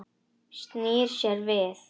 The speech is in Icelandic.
Snýr sér við.